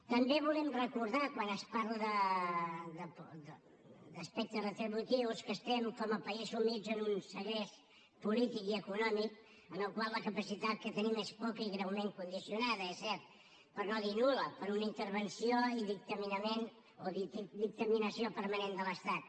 també volem recordar quan es parla d’aspectes retributius que estem com a país sumits en un segrest polític i econòmic en el qual la capacitat que tenim és poca i greument condicionada és cert per no dir nul·la per una intervenció i dictaminació permanent de l’estat